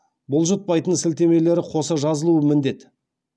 бұлжытпайтын сілтемелері қоса жазылуы міндет